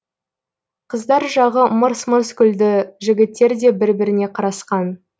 қыздар жағы мырс мырс күлді жігіттер де бір біріне қарасқан